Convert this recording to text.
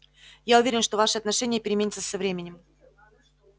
я уверен что ваше отношение переменится со временем